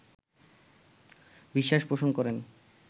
বিশ্বাস পোষণ করেন